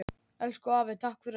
Elsku afi takk fyrir allt.